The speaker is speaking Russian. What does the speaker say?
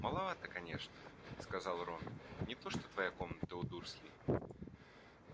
маловата конечно сказал рон не то что твоя комната у дурслей